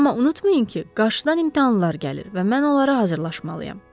Amma unutmayın ki, qarşıdan imtahanlar gəlir və mən onlara hazırlaşmalıyam.